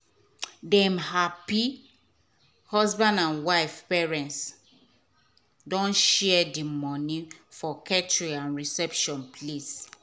um dem happy husband and wife parents don share the money for catering and reception place.